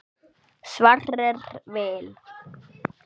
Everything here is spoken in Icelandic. Sverrir Vil.